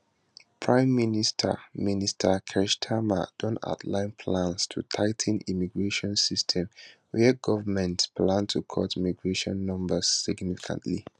prime minister minister keir starmer don outline plans to tigh ten immigration system wia govment plan to cut migration numbers significantly